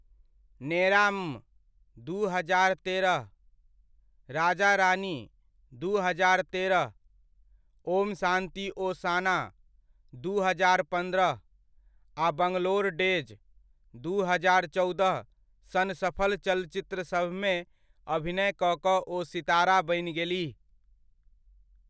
नेराम, दू हजार तेरह, राजा रानी, दू हजार तेरह, ओम शान्ति ओशाना, दू हजार पन्द्रह, आ बंगलोर डेज, दू हजार चौदह सन सफल चलचित्रसभमे अभिनय कऽ कऽ ओ सितारा बनि गेलीह।